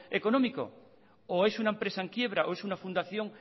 económico o es una empresa en quiebra o es una fundación